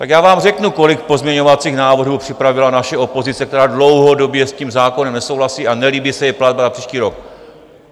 Tak já vám řeknu, kolik pozměňovacích návrhů připravila naše opozice, která dlouhodobě s tím zákonem nesouhlasí a nelíbí se jí platba na příští rok.